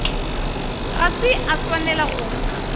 ga se a swanela go